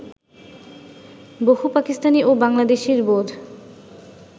বহু পাকিস্তানি ও বাংলাদেশির বোধ